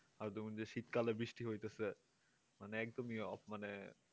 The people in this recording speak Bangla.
আর যে শীতকালে বৃষ্টি হইতেছে মানে একদমই মানে